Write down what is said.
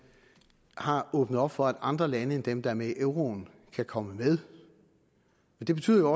har åbnet op for at andre lande end dem der er med i euroen kan komme med det betyder